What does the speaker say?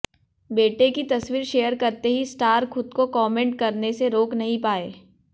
बेटे की तस्वीर शेयर करते ही स्टार खुद को कॉमेंट करने से रोक नहीं पाए